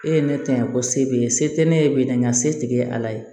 E ye ne ta yan ko se b'e ye se tɛ ne b'e n ka se tigɛ ala ye